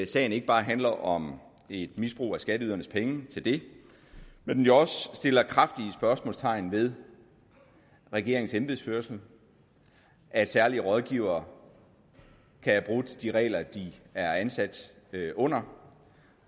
sagen ikke bare handler om et misbrug af skatteydernes penge til det men jo også sætter kraftige spørgsmålstegn ved regeringens embedsførelse at særlige rådgivere kan have brudt de regler de er ansat under